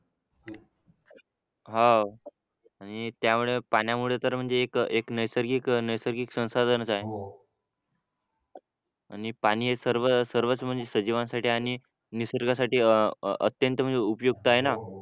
हा आणि त्यामुळे पाण्यामुळे तर म्हणजे एक नैसर्गिक नैसर्गिक संसाधनच आहे आणि पाणी हे सर्वच म्हणजे सजीवांसाठी आणि निसर्गासाठी अं अत्यंत म्हणजे उपयुक्त आहे ना